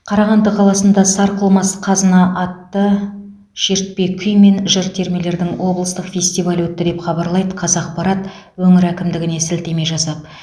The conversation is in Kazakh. қарағанды қаласында сарқылмас қазына атты шертпе күй мен жыр термелердің облыстық фестивалі өтті деп хабарлайды қазақпарат өңір әкімдігіне сілтеме жасап